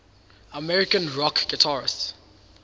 american rock guitarists